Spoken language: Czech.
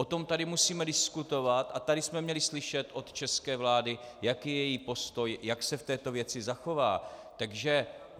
O tom tady musíme diskutovat a tady jsme měli slyšet od české vlády, jaký je její postoj, jak se v této věci zachová.